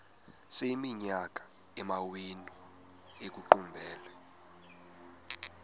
sekuyiminyaka amawenu ekuqumbele